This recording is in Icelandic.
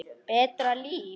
Betra líf.